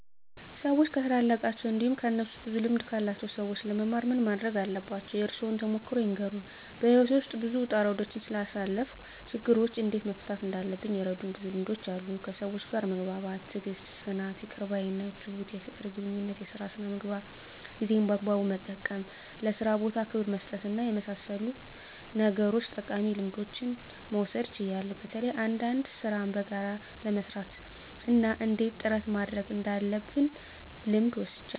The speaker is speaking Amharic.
ሰዎች ከታላላቃቸው እንዲሁም ከእነሱ ብዙ ልምድ ካላቸው ሰዎች ለመማር ምን ማረግ አለባቸው? የእርሶን ተሞክሮ ይንገሩን? *በሕይወቴ ውስጥ ብዙ ውጣ ውረዶችን ስላሳለፍኩ፣ ችግሮችን እንዴት መፍታት እንዳለብኝ የረዱኝ ብዙ ልምዶች አሉ፤ ከሰዎች ጋር መግባባት፣ ትዕግስት፣ ጽናት፣ ይቅር ባይነት፣ ትሁት፣ የፍቅር ግንኙነት፣ የሥራ ሥነ ምግባር፣ ጊዜን በአግባቡ መጠቀም፣ ለሥራ ቦታ ክብር በመስጠትና በመሳሰሉት ነገሮች ጠቃሚ ልምዶችን መውሰድ ችያለሁ። በተለይ አንዳንድ ሥራን በጋራ ለመሥራት እና እንዴት ጥረት ማድረግ እንዳለብ ልምድ ወስጃለሁ።